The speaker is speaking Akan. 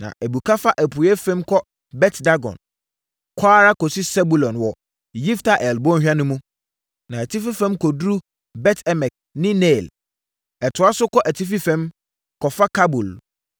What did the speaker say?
na ɛbuka fa apueeɛ fam kɔ Bet-Dagon, kɔ ara kɔsi Sebulon wɔ Yifta-El bɔnhwa no mu, kɔ atifi fam kɔduru Bet-Emek ne Neiel. Ɛtoa so kɔ atifi fam, kɔfa Kabul,